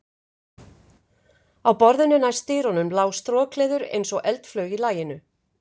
Á borðinu næst dyrunum lá strokleður, eins og eldflaug í laginu.